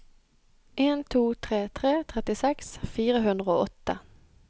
en to tre tre trettiseks fire hundre og åtte